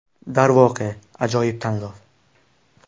Darvoqe, ajoyib tanlov!”.